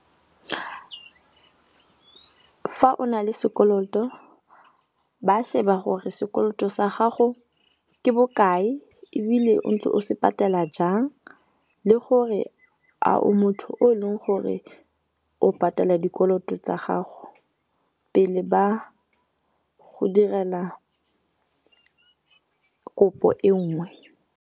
Fa o na le sekoloto ba sheba gore sekoloto sa gago ke bokae ebile o ntse o se patela jang le gore a o motho o e leng gore o patela dikoloto tsa gago pele ba go direla kopo e nngwe.